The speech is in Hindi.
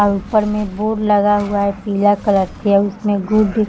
और ऊपर में बोर्ड लग हुआ है पीला कलर के उसमे गुड --